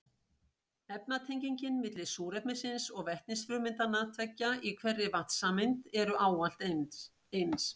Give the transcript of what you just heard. Efnatengin milli súrefnisins og vetnisfrumeindanna tveggja í hverri vatnssameind eru ávallt eins.